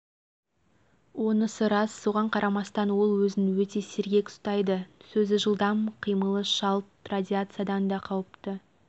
онысы рас соған қарамастан ол өзін өте сергек ұстайды сөзі жылдам қиымылы шалт радиациядан да қауіпті